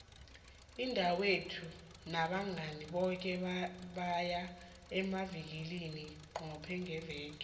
udadwethu nabangani bakhe baya emavikilina qobe ngepelaveke